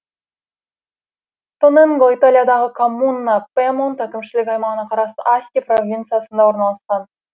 тоненго италиядағы коммуна пьемонт әкімшілік аймағына қарасты асти провинциясында орналасқан